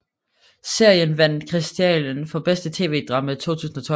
Serien vandt Kristiallen for bedste TV drama 2012